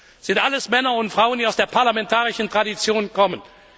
Es sind alles Männer und Frauen, die aus der parlamentarischen Tradition kommen.